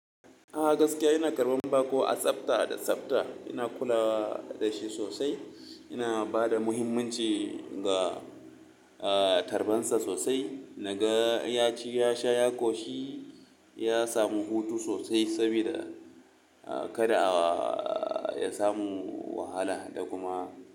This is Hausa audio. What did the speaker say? A gaskiya ina karɓan bako a tsafta da tsafta. Ina kula da shi sosai, ina ba da muhimmanci ga, ah, tarban sa sosai. Naga ya ci, ya sha, ya ƙoshi, ya samu hutu sosai saboda, ah, kada a, ah, ya samu wahala da kuma.